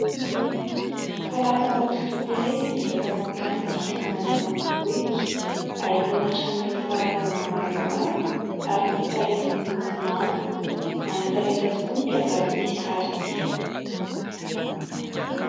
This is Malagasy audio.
Falafana hosodoko iray izay miezaka mampiranty ny fiainana any ambanivohitra. Ahitana trano nentim-parazana maromaro ary ombi-tsarety miloko manga. Manantalenta tokoa ny mpiangaly ity sary ity.